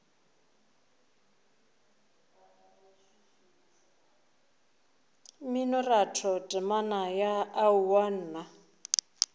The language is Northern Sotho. mminoratho temana ya aowa nna